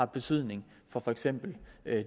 betydning for for eksempel